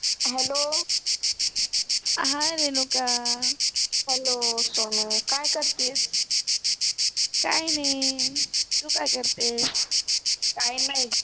रेणुका सोनु काय करतियेस काइ नाइ, तु काय करतियेस? काइ नाइ